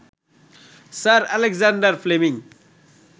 sir Alexander Fleming